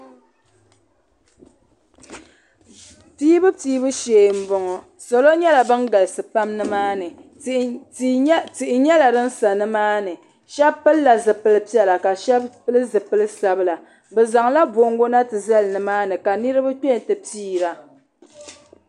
Piibu Piibu shee m-bɔŋɔ salo nyɛla ban galisi pam nimaani tihi nyɛla din sa nimaani shɛba pilila zipili piɛla ka shɛba pili zipili sabila bɛ zaŋla bongo na ti zali nimaani ka niriba piira.